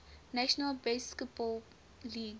national basketball league